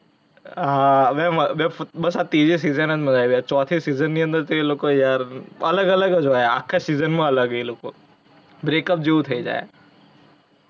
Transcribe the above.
હા બે , બસ આ ત્રિજી season જ મજા આવી જાય. ચોથી season ની અંદર તો એ લોકો યાર અલગ અલગ જ હોઇ આખા season માં અલગ હે એ લોકો. break up જેવુ થઇ જાય.